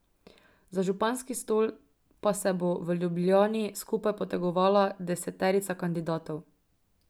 Za županski stol pa se bo v Ljubljani skupaj potegovala deseterica kandidatov.